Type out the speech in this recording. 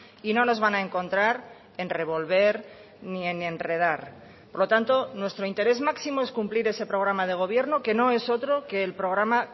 y no nos van a encontrar en revolver ni en enredar por lo tanto nuestro interés máximo es cumplir ese programa de gobierno que no es otro que el programa